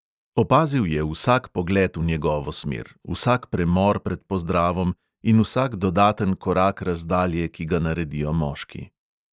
Opazil je vsak pogled v njegovo smer, vsak premor pred pozdravom in vsak dodaten korak razdalje, ki ga naredijo moški.